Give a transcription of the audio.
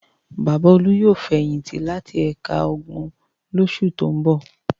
Bàbá Olú yóò fẹ̀yìntì láti ẹ̀ka ogun lóṣù tó ń bọ̀.